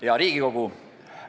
Hea Riigikogu!